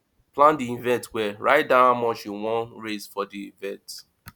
plan di event well write down how much you won raise for di event